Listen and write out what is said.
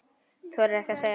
Þorir ekkert að segja.